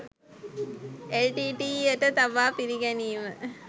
LTTE. යට තබා පිළිගැනීම